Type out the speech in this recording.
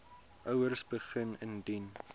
ouers begin indien